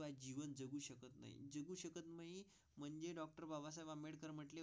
म्हणजे डॉक्टर बाबासाहेब आंबेडकर म्हणून.